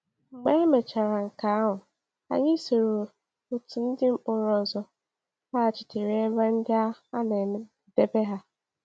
Mgbe emechaara nke ahụ, anyị soro otu ndị mkpọrọ ọzọ laghachitere ebe ndị a na-edebe ha.